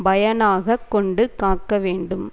பயனாக கொண்டு காக்க வேண்டும்